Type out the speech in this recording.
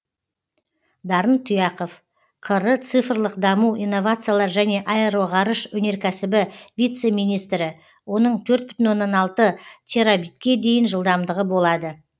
дарын тұяқов қр цифрлық даму инновациялар және аэроғарыш өнеркәсібі вице министрі оның төрт бүтін оннан алты терабитке дейін жылдамдығы болады